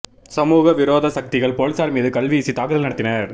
சமூக விரோத சக்திகள் போலீசார் மீது கல்வீசி தாக்குதல் நடத்தினர்